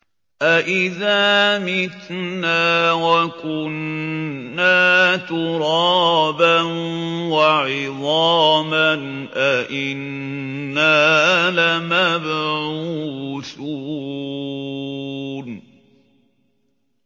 أَإِذَا مِتْنَا وَكُنَّا تُرَابًا وَعِظَامًا أَإِنَّا لَمَبْعُوثُونَ